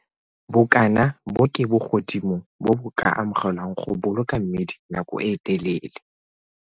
Bokana bo ke bogodimo bo bo ka amogelwang go boloka mmidi nako e telele.